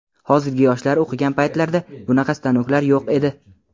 Hozirgi yoshlar o‘qigan paytlarda bunaqa stanoklar yo‘q edi.